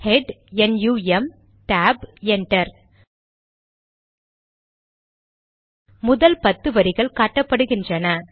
head NUM tab enter முதல் பத்து வரிகள் காட்டப்படுகிறன